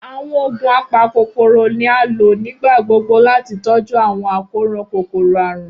Awọn oogun apakokoro ni a lo nigbagbogbo lati tọju awọn akoran kokoro-arun.